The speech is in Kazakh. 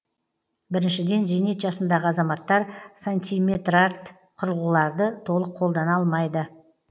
біріншіден зейнет жасындағы азаматтар сантиметрарт құрылғыларды толық қолдана алмайды